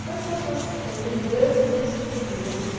Quais são as suas ãh lembranças desse período? Assim